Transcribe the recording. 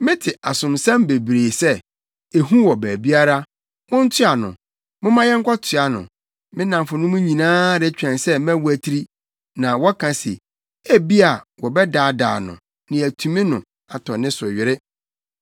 Mete asomsɛm bebree sɛ, “Ehu wɔ baabiara! Montoa no! Momma yɛnkɔtoa no!” Me nnamfonom nyinaa retwɛn sɛ mɛwatiri, na wɔka se, “Ebia wɔbɛdaadaa no; na yɛatumi no atɔ ne so were.”